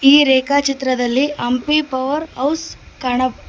ಈ ರೇಖಾಚಿತ್ರದಲ್ಲಿ Hampi power house ಕಾಣ--